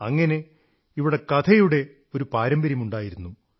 അങ്ങനെ ഇവിടെ കഥയുടെ ഒരു പാരമ്പര്യമുണ്ടായിരുന്നു